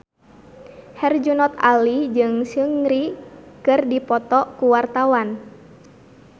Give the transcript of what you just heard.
Herjunot Ali jeung Seungri keur dipoto ku wartawan